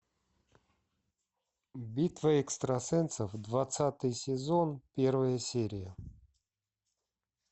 битва экстрасенсов двадцатый сезон первая серия